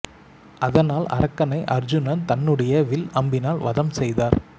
அதனால் அரக்கனை அர்ஜூனன் தன்னுடைய வில் அம்பினால் வதம் செய்தார்